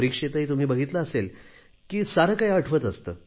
परीक्षेतही तुम्ही बघितले असेल की सारे काही आठवत असते